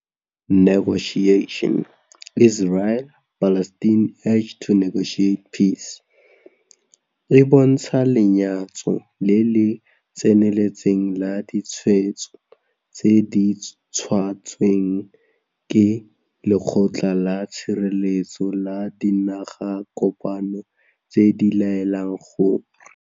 E bontsha lenyatso le le tseneletseng la ditshwetso tse di tshotsweng ke Lekgotla la Tshireletso la Dinagakopano tse di laelang gore.